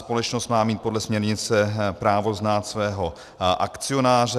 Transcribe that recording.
Společnost má mít podle směrnice právo znát svého akcionáře.